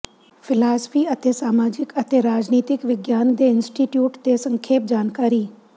philosophy ਅਤੇ ਸਮਾਜਿਕ ਅਤੇ ਰਾਜਨੀਤਿਕ ਵਿਗਿਆਨ ਦੇ ਇੰਸਟੀਚਿਊਟ ਦੇ ਸੰਖੇਪ ਜਾਣਕਾਰੀ